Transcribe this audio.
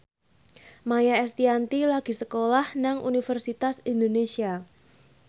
Maia Estianty lagi sekolah nang Universitas Indonesia